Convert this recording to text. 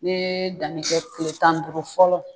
N'i ye danni kɛ kile tan ni duuru fɔlɔ.